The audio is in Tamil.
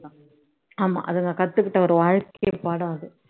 ஆமா அதுங்க கத்துக்கிட்ட ஒரு வாழ்க்கை பாடம் அது